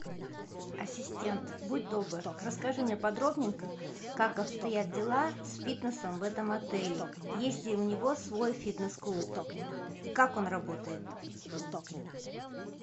ассистент будь добр расскажи мне подробненько как обстоят дела с фитнесом в этом отеле есть ли у него свой фитнес клуб и как он работает